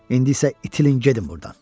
İndi isə itilin gedin burdan.